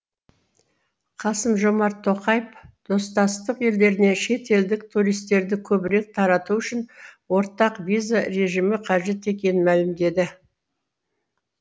қасым жомарт тоқаев достастық елдеріне шетелдік туристерді көбірек тарату үшін ортақ виза режимі қажет екенін мәлімдеді